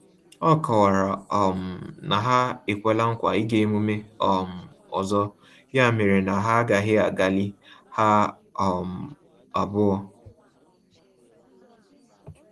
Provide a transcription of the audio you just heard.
Ọ kọwara um na ha ekwela nkwa ịga emume um ọzọ ya mere na ha agaghị agalị ha um abụọ